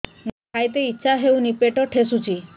ମୋତେ ଖାଇତେ ଇଚ୍ଛା ହଉନି ପେଟ ଠେସୁଛି